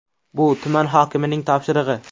Bu tuman hokimining topshirig‘i.